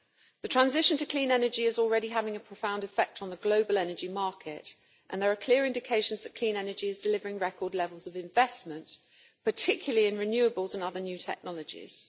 The transition to clean energy is already having a profound effect on the global energy market, and there are clear indications that clean energy is delivering record levels of investment, particularly in renewables and other new technologies.